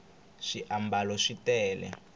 swiambalo swi tele